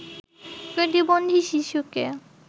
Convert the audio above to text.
প্রতিবন্ধী শিশুকে